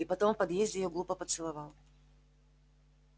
и потом в подъезде её глупо поцеловал